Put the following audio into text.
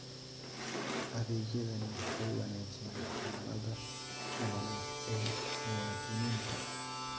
Adeegyadani waxay wanaajiyaan xaaladda nololeed ee muwaadiniinta.